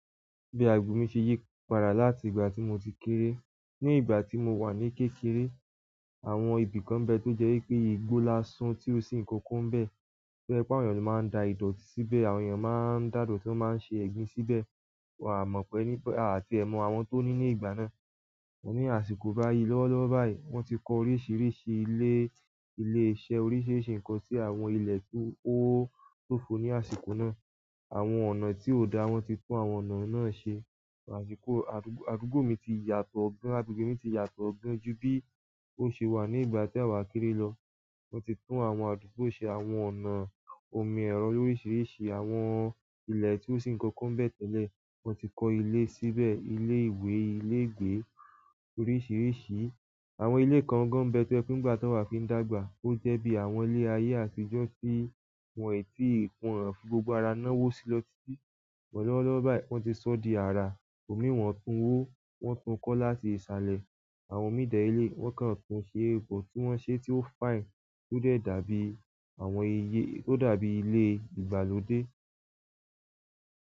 Bí àgbo mi ṣe yí padà láti ìgbà tí mo ti kéré. Ní ìgbà tí mo wà ní kékeré, àwọn ibìkan nbẹ tó jẹ́ pé igbó lásán tí ó sì ńkankan nbẹ, to je pe ọ̀pọ̀ ènìyàn ló máa ń da ìdọ̀tí síbẹ̀, àwọn ènìyàn máa ń dà idọ̀ti máa ń ṣe ẹ̀gbin síbẹ̀. Wà á mọ̀ pẹ́ nípa à tie mọ́ àwọn tó ní ní ìgbà náà. Mo ní àsìkò báyìí lọ́wọ́lọ́wọ́ báyìí, wọ́n ti kọ oríṣiríṣi ilé, ilé iṣẹ́ oríṣiríṣi nǹkan sí àwọn ilẹ̀ tí ó tóko ní àsìkò náà. Àwọn ọ̀nà tí ò dá, wọ́n ti tún àwọn ọ̀nà náà se. Àsìkò àdúgbò mi ti yàtọ̀ ọgbọ́n, àdúgbò mi ti yàtọ̀ ọgbọ́n ju bí ó ṣe wà ní ìgbà tí àwa kéré lọ. Wọ́n ti tún àwọn àdúgbò ṣe àwọn ọ̀nà omi ẹ̀rọ lórisiríṣi, àwọn ilẹ̀ tí ó sì ńkankan bẹ tẹ́lẹ̀, wọ́n ti kọ́ ilé síbẹ̀, ilé ìwé, ilé ìgbé oríṣiríṣi. Àwọn ìle kan gan bẹ tó jẹ pe nìgbà ta wa fi ń dàgbà. Ó jẹ́ bí àwọn ilé ayé àtijọ́ tí wọ́n i tí ìkun wo ti fi gbogbo ara ná wó sí lọ́titi BỌ̀ lọ́wọ́lọ́wọ́ báyìí wọ́n ti soo di ara, òní wọn tún wo, wọn tún kọ́ láti ṣálẹ̀ àwọn mii dẹ̀ leléyii, wọ́n kàn tún ṣe egbò tí wọ́n ṣe tí ó fine tó dẹ̀ dàbí àwọn iyé, ó dàbí ilé ìgbàlódé.